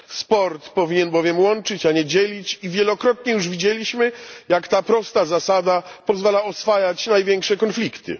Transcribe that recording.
Sport powinien bowiem łączyć, a nie dzielić, i wielokrotnie już widzieliśmy, jak ta prosta zasada pozwala oswajać największe konflikty.